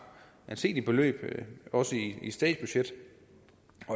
anseligt beløb også i et statsbudget